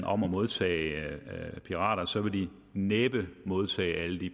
om at modtage pirater så vil de næppe modtage alle de